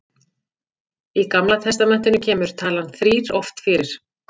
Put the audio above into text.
í gamla testamentinu kemur talan þrír oft fyrir